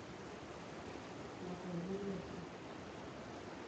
Natayioloki